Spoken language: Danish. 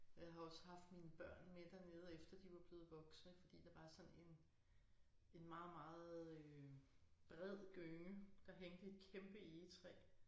Jeg har også haft mine børn med dernede efter de var blevet voksne fordi der var sådan en en meget meget øh bred gynge der hængte i et kæmpe egetræ